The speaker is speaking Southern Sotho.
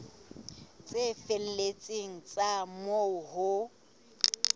tse felletseng tsa moo ho